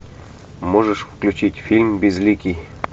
можешь включить фильм безликий